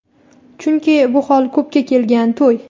Chunki bu hol ko‘pga kelgan to‘y.